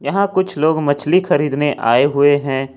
यहां कुछ लोग मछली खरीदने आए हुए हैं।